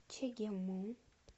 чегему